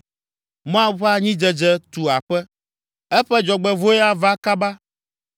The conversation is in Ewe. “Moab ƒe anyidzedze tu aƒe, eƒe dzɔgbevɔ̃e ava kaba.